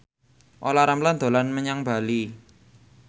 Olla Ramlan dolan menyang Bali